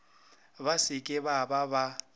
ba se ke ba ba